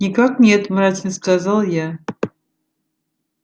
никак нет мрачно сказал я